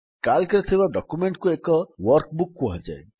Calcରେ ଥିବା ଡକ୍ୟୁମେଣ୍ଟ୍ କୁ ଏକ ୱର୍କବୁକ୍ କୁହାଯାଏ